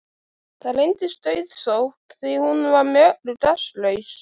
Það reyndist auðsótt því hún var með öllu gagnslaus.